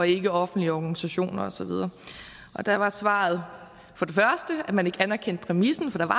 ikkeoffentlige organisationer og så videre der var svaret at man ikke anerkendte præmissen for